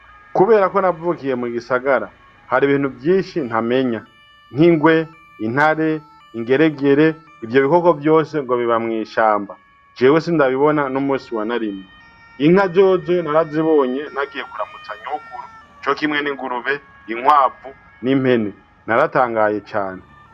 Kubera ko navukiye mu gisagara, hari ibintu vyinshi ntamenya, nk'ingwe, intare, ingeregere, ivyo bikoko vyose ngo biba mw'ishamba, jewe sindabibona n'umusi wa na rimwe, inka zozo narazibonye nagiye kuramutsa nyokuru co kimwe n'ingurube, inkwavu, n'impene, naratangaye cane.